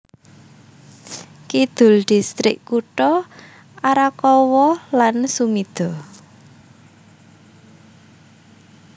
Kidul distrik kutha Arakawa lan Sumida